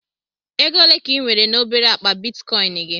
Ego ole ka ị nwere na obere akpa Bitikoin gị?